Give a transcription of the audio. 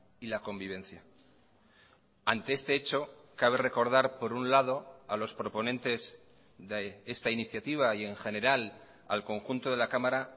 y la convivencia ante este hecho cabe recordar por un lado a los proponentes de esta iniciativa y en general al conjunto de la cámara